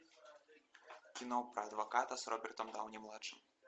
кино про адвоката с робертом дауни младшим